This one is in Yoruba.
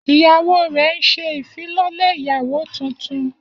Iyawo rẹ n ṣe ifilọlẹ iyawo tuntun